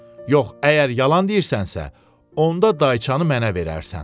Yox, əgər yalan deyirsənsə, onda dayçanı mənə verərsən.